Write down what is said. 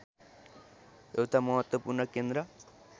एउटा महत्त्वपूर्ण केन्द्र